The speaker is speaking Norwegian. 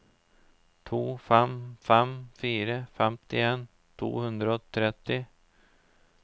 to fem fem fire femtien to hundre og tretti